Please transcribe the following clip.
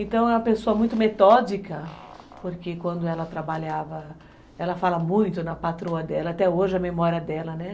Então, é uma pessoa muito metódica, porque quando ela trabalhava, ela fala muito na patroa dela, até hoje a memória dela, né?